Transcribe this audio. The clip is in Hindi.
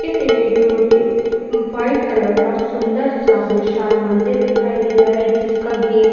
इस इमेज में मुझे एक व्हाइट कलर का सुंदर -सा विशाल मंदिर दिखाई दे रहा है जिसका गेट --